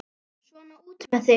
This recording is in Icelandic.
Svona, út með þig!